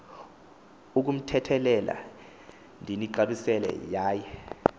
ukumthethelela ndinixabisile yaye